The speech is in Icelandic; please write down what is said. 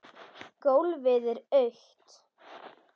Gólfið er autt.